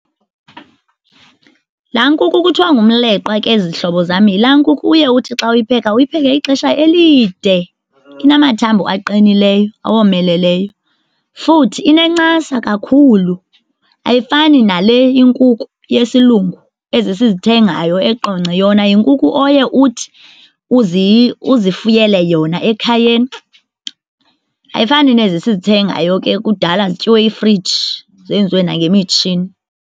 Laa nkukhu kuthiwa ngumleqwa ke zihlobo zam yilaa nkukhu uye uthi xa uyipheka uyipheke ixesha elide, inamathambo aqinileyo awomeleleyo. Futhi inencasa kakhulu ayifani nale inkukhu yesilungu, ezi sizithengayo eQonce. Yona yinkuku oye uthi uzifuyile yona ekhayeni, ayifani nezi sizithengayo ke kudala zityiwe yifriji zenziwe nangemitshini.